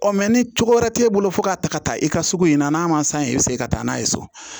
Ɔ mɛ ni cogo wɛrɛ t'e bolo fo k'a ta ka taa i ka sugu in na n'a ma san i bɛ se ka taa n'a ye so